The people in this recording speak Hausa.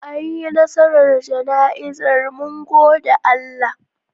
Anyi nasarar jana'izar mun gode Allah.